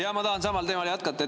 Jaa, ma tahan samal teemal jätkata.